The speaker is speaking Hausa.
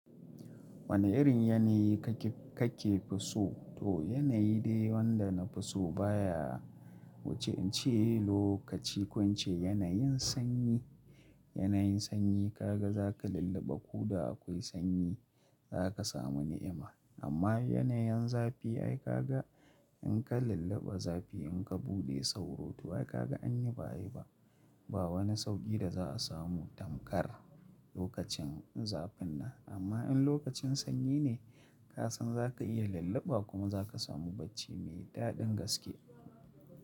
Wane irin yanayi kake, kake fi so? To yanayi dai wanda na fi so baya wuce in ce lokaci kun ce yanayin sanyi, yanayin sanyi ka ga za ka lullaba ku da akwai sanyi za ka samu ni'ima. Amma yanayin zafi ai ka ga in ka lullaba zafi in ka buɗe sauro to ai ka ga an yi bayi ba. Ba wani sauƙi da za a samu tamkar lokacin zafin nan. Amma in lokacin sanyi ne ka san za ka iya lullaba kuma za ka samu bacci mai daɗin gaske.